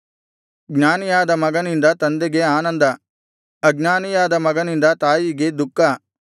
ಜ್ಞಾನಿಯಾದ ಮಗನಿಂದ ತಂದೆಗೆ ಆನಂದ ಅಜ್ಞಾನಿಯಾದ ಮಗನಿಂದ ತಾಯಿಗೆ ದುಃಖ